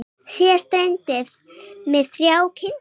Síðast dreymdi mig þrjár kindur.